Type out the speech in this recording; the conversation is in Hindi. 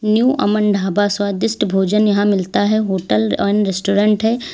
न्यू अमन ढाबा स्वादिष्ट भोजन यहां मिलता है होटल एंड रेस्टोरेंट है।